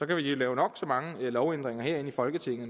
kan lave nok så mange lovændringer her i folketinget